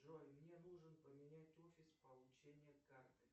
джой мне нужно поменять офис получения карты